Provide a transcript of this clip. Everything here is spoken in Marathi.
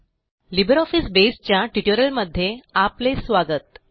लिब्रिऑफिस बसे च्या ट्युटोरियलमध्ये आपले स्वागत